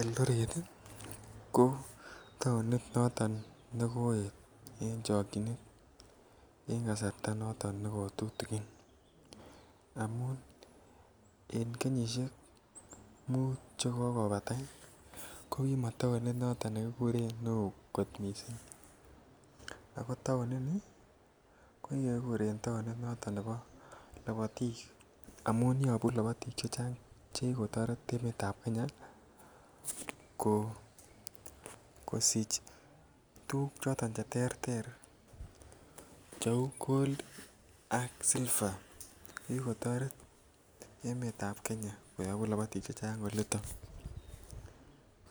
Eldoret ko taonit noton nekoet en chokyinet en kasarta noton ne ko tutikin amun kenyisiek muut Che kokobata ko taonit nekomakoo mising ako taonit ko kikuren taonit nebo labatik amun yobu labatik chechang Che ki kotoret emet ab Kenya ko kosich tuguk choton Che terter Cheu gold ak silver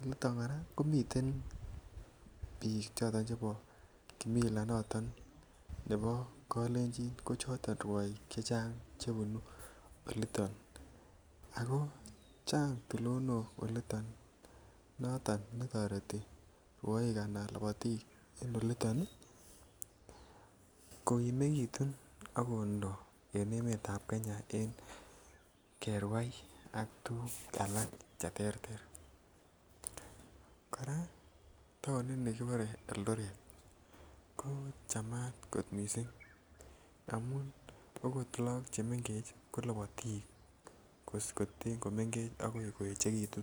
olito kora ko miten bik Chebo kimila nebo kalenjin ko choton rwoik chechang Che bunu olito ago Chang tulonok olito noton netoreti rwoik en olito ko kokimegitun ak kondo en emetab Kenya en kerwai ak tuguk alak Che terter kora taonini kibore Eldoret ko chamat kot mising amun okot lagok chemengech ko lobotik ko ten ko mengech akoi koegitu